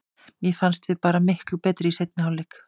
Mér fannst við bara miklu betri í seinni hálfleik.